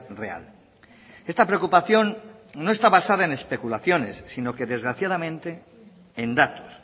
real esta preocupación no está basada en especulaciones sino que desgraciadamente en datos